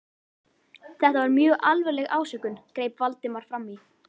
Þetta var mjög alvarleg ásökun- greip Valdimar fram í.